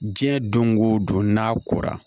Diɲɛ don go don n'a kora